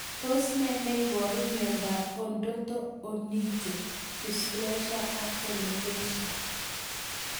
Tos nee neiparu miondop Odonto onycho dysplasia ak alopecia?